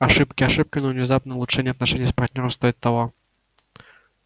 ошибки ошибками но внезапное улучшение отношений с партнёром стоит того